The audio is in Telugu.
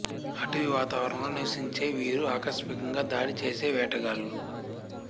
అటవీ వాతావరణంలో నివసించే వీరు ఆకస్మికంగా దాడి చేసే వేటగాళ్ళు